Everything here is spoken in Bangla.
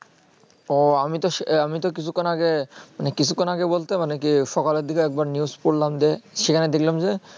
ওহ আমি তো আমি তো কিছুক্ষণ আগে মানে কিছুক্ষণ আগে বলতে মানে কি সকালের দিকে যে একবার news পড়লাম যে সেখানে দেখলাম যে